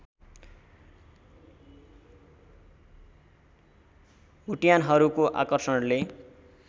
बुट्यानहरूको आकषर्णले